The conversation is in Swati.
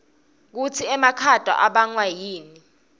kutsi emakhata abangwa yini